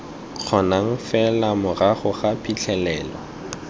kgonang fela morago ga phitlhelelo